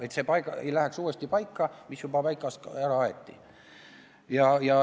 Et see ei läheks uuesti paika, mis juba paigast ära aeti.